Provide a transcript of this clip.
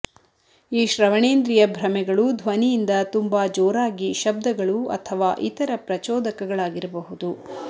ಈ ಶ್ರವಣೇಂದ್ರಿಯ ಭ್ರಮೆಗಳು ಧ್ವನಿಯಿಂದ ತುಂಬಾ ಜೋರಾಗಿ ಶಬ್ದಗಳು ಅಥವಾ ಇತರ ಪ್ರಚೋದಕಗಳಾಗಿರಬಹುದು